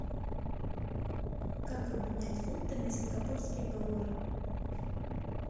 как обменять фунты на сингапурские доллары